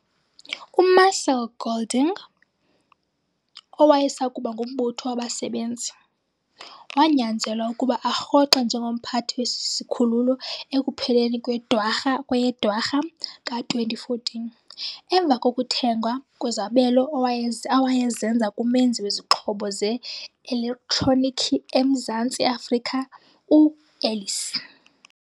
UMarcel Golding, owayesakuba ngumbutho wabasebenzi, wanyanzelwa ukuba arhoxe njengomphathi wesi sikhululo ekupheleni kweyeDwarha ka-2014, emva kokuthengwa kwezabelo awayezenza kumenzi wezixhobo ze-elektroniki eMzantsi Afrika u-Ellies.